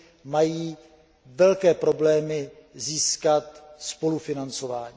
mají velké problémy získat spolufinancování.